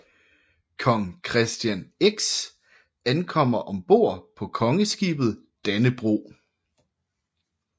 Kong Christian X ankommer ombord på Kongeskibet Dannebrog